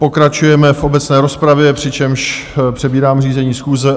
Pokračujeme v obecné rozpravě, přičemž přebírám řízení schůze.